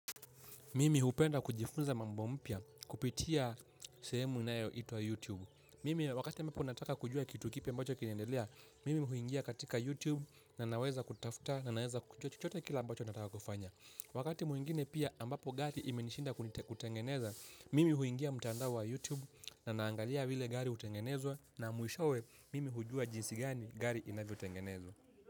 Mimi hupenda kujifunza mambo mpya kupitia sehemu inayoitwa YouTube. Mimi wakati ambapo nataka kujua kitu kipya ambacho kinendelea, mimi huingia katika YouTube na naweza kutafuta na naweza kujua chochote kile ambacho nataka kufanya. Wakati mwingine pia ambapo gari imenishinda kutengeneza, mimi huingia mtando wa YouTube na naangalia vile gari utengenezwa na mwishowe mimi hujua jinsi gani gari inavyo tengenezwa.